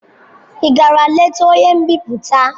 Ị gara leta onye mbipụta?